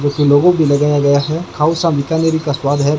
जो कि लोगो भी लगाया गया है हाउस ऑफ़ बीकानेर का स्वाद है।